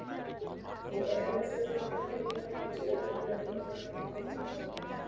Og ef við þurfum myndirnar get ég örugglega fengið hana til að hjálpa okkur.